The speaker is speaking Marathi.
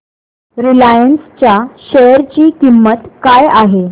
रिलायन्स च्या शेअर ची किंमत काय आहे